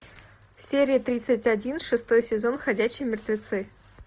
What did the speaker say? серия тридцать один шестой сезон ходячие мертвецы